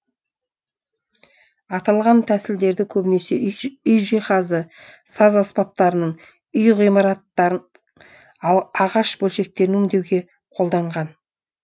аталған тәсілдерді көбінесе үй жиһазы саз аспаптарының үй ғимараттарының ағаш бөлшектерін өңдеуге қолданған